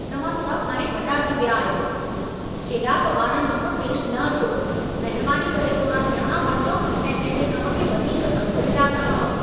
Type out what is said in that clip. तव्हां सभ हाणे वॾा थी विया आहियो! चेड़ाक ॿारनि वांगुर पेश न अचो। महिरबानी करे थोरा सियाणा बणिजो ऐं पंहिंजे कम खे वधीक गंभीरता सां खणो।